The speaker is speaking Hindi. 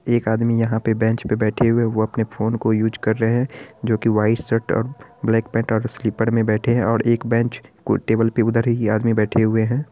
एक आदमी यहाँ पे बेंच में बैठे हुए हैं जोकी अपना फ़ोन का यूज़ कर रहे हैं जोकी वाइट शर्ट और ब्लैक पेंट स्लिपर में बैठे हुए हैं| एक बेंच के टेबल के उधर भी आदमी बैठे हुए हैं।